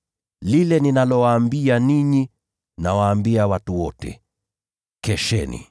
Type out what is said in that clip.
Lile ninalowaambia ninyi, nawaambia watu wote: ‘Kesheni!’ ”